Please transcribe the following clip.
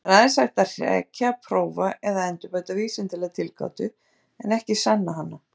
Það er aðeins hægt að hrekja, prófa eða endurbæta vísindalega tilgátu, en ekki sanna hana.